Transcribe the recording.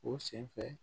O sen fɛ